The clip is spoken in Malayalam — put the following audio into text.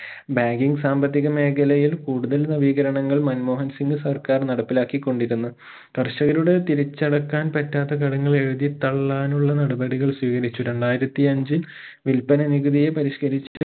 banking സാമ്പത്തിക മേഖലയിൽ കൂടുതൽ നവീകരണങ്ങൾ മൻമോഹൻ സിംഗ് സർക്കാർ നടപ്പിലാക്കി കൊണ്ടിരുന്നു. കർഷകരുടെ തിരിച്ചടക്കാൻ പറ്റാത്ത കടങ്ങൾ എഴുതി തള്ളാൻ ഉള്ള നടപടികൾ സ്വീകരിച്ചു. രണ്ടായിരത്തി അഞ്ചിൽ വില്പന നികുതിയെ പരിഷ്കരിച്ചു